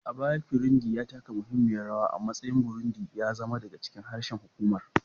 A baya, Kirundi ya taka muhimmiyar rawa a matsayin Burundi, ya zama daga cikin harshen hukumar'